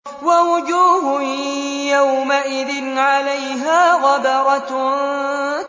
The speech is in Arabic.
وَوُجُوهٌ يَوْمَئِذٍ عَلَيْهَا غَبَرَةٌ